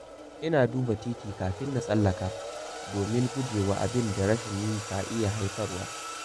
Ina duba titi kafin na tsallaka, domin guje wa abin da rashin yi ka iya haifarwa.